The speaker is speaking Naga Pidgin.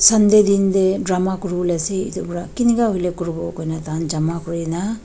sunday din te drama kori bole ase etu para kina ka kori bo hoile jama kori na.